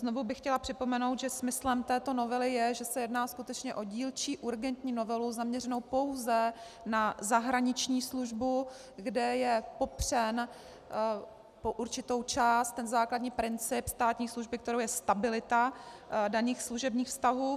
Znovu bych chtěla připomenout, že smyslem této novely je, že se jedná skutečně o dílčí urgentní novelu, zaměřenou pouze na zahraniční službu, kde je popřen po určitou část ten základní princip státní služby, kterou je stabilita daných služebních vztahů.